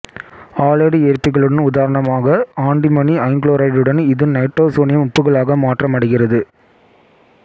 halide ஏற்பிகளுடன் உதாரணமாக antimony ஐங்குளோரைடுடன் இது நைட்ரோசோனியம் உப்புகளாக மாற்றமடைகிறது